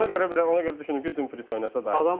Ona görə ona görə düşündüm ki, Dumfries oynasa daha yaxşı olar.